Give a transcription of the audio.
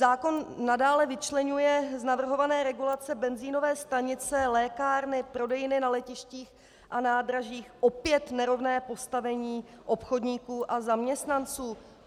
Zákon nadále vyčleňuje z navrhované regulace benzinové stanice, lékárny, prodejny na letištích a nádražích - opět nerovné postavení obchodníků a zaměstnanců.